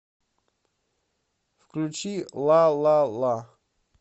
включи ла ла ла